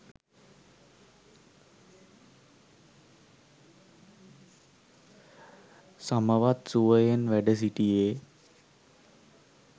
සමවත් සුවයෙන් වැඩ සිටියේ